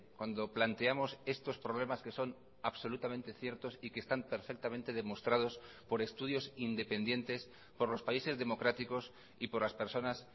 cuando planteamos estos problemas que son absolutamente ciertos y que están perfectamente demostrados por estudios independientes por los países democráticos y por las personas